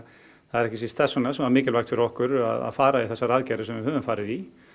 það er ekki síst þess vegna sem það var mikilvægt fyrir okkur að fara í þessar aðgerðir sem við höfum farið í